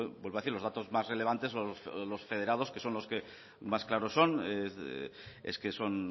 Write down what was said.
vuelvo a decir los datos más relevantes o los federados que son los que más claros son es que son